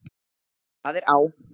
Það er á